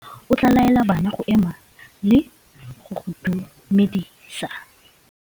Morutabana o tla laela bana go ema le go go dumedisa.